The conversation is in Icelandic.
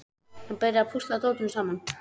Hann byrjar að púsla dótinu saman.